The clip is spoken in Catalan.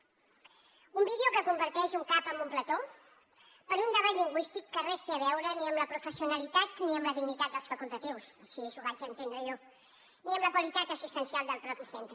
un vídeo que converteix un cap en un plató per un debat lingüístic que res té a veure ni amb la professionalitat ni amb la dignitat dels facultatius així ho vaig entendre jo ni amb la qualitat assistencial del propi centre